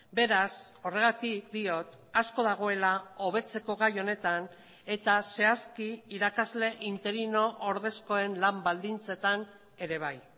beraz horregatik diot asko dagoela hobetzeko gai honetan eta zehazki irakasle interino ordezkoen lan baldintzetan ere bai